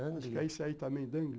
Acho que é esse aí também, Dangle.